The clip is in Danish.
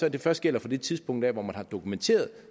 at det først gælder fra det tidspunkt hvor man har dokumenteret